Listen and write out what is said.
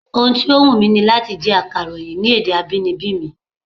Ohun tó wùn ni láti jẹ́ akàròyìn ní èdè abínibí mi